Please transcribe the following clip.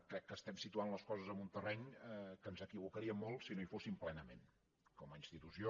crec que estem situant les coses en un terreny que ens equivocaríem molt si no hi fóssim plenament com a institució